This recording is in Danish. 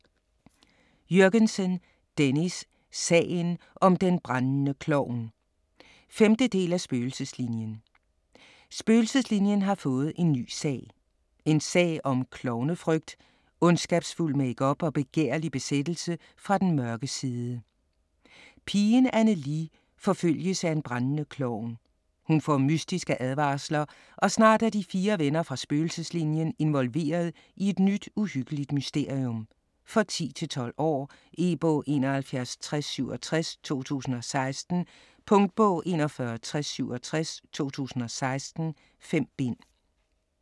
Jürgensen, Dennis: Sagen om den brændende klovn 5. del af Spøgelseslinien. Spøgelseslinien har fået en nye sag. En sag om klovnefrygt, ondskabsfuld makeup og begærlig besættelse fra den mørke side. Pigen Anne-Lie forfølges af en brændende klovn. Hun får mystiske advarsler og snart er de fire venner fra Spøgelseslinien involveret i et nyt uhyggeligt mysterium. For 10-12 år. E-bog 716067 2016. Punktbog 416067 2016. 5 bind.